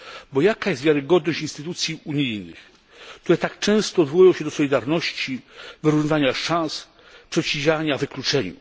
Bo jaka jest wiarygodność instytucji unijnych, które tak często odwołują się do solidarności, wyrównywania szans, przeciwdziałania wykluczeniu?